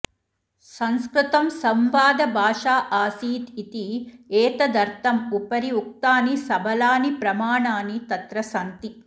संस्कृतं संवादभाषा आसीत् इति एतदर्थम् उपरि उक्तानि सबलानि प्रमाणानि तत्र सन्ति